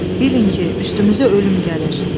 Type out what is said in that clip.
Bilin ki, üstümüzə ölüm gəlir.